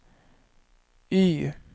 Y